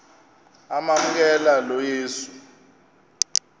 amamkela lo yesu